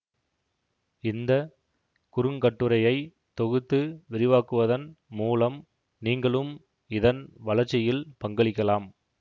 இந்த குறுங்கட்டுரையை தொகுத்து விரிவாக்குவதன் மூலம் நீங்களும் இதன் வளர்ச்சியில் பங்களிக்கலாம்